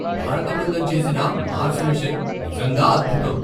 భారత బృందం చేసిన మార్స్ మిషన్ నిజంగా అద్భుతం!